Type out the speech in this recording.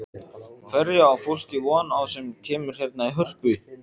Hverju á fólk von á sem kemur hérna í Hörpu?